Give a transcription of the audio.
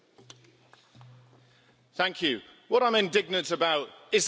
What I'm indignant about is the hypocrisy of this House.